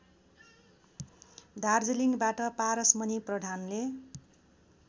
दार्जिलिङबाट पारसमणि प्रधानले